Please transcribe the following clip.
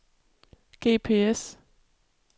GPS